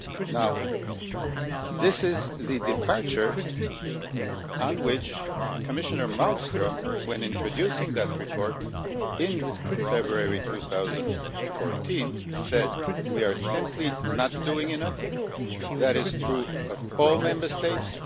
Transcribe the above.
Now, this is the point of departure, on which Commissioner Malmström, when introducing that report in February 2014, said We are simply not doing enough. That is true of all Member States.